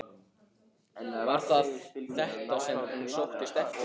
Var það þetta sem hún sóttist eftir?